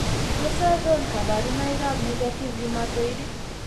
Tos achon kabarunaik ab Negative rheumatoid ?